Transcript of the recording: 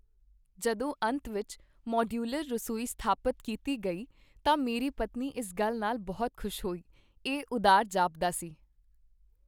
ਜਦੋਂ ਅੰਤ ਵਿੱਚ ਮਾਡਯੂਲਰ ਰਸੋਈ ਸਥਾਪਤ ਕੀਤੀ ਗਈ ਤਾਂ ਮੇਰੀ ਪਤਨੀ ਇਸ ਨਾਲ ਬਹੁਤ ਖ਼ੁਸ਼ ਹੋਈ। ਇਹ ਉਦਾਰ ਜਾਪਦਾ ਸੀ!